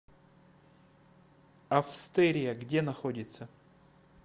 австерия где находится